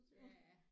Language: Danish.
Ja